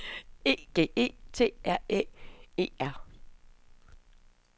E G E T R Æ E R